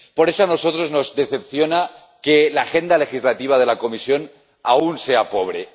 Por eso, a nosotros nos decepciona que la agenda legislativa de la Comisión aún sea pobre.